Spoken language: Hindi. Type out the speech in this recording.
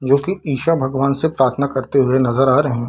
जो कि ईशा भगवान से प्रार्थना करते हुए नजर आ रहे।